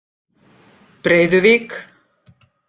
Breiðuvík